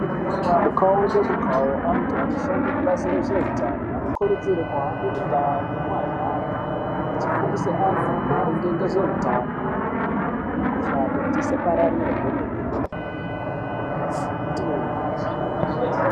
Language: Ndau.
Mukawu ngemukawu antu anoshanda mubazi rezvehutano anokurudzirwa kuhambe mundaa nemumagande achifundisa antu maringe nehutano nemikuhlani kuti isapararire kwemene.